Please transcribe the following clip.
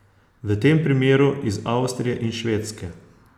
V tem primeru iz Avstrije in Švedske.